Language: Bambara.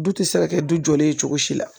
Du tɛ se ka kɛ du jɔlen ye cogo si la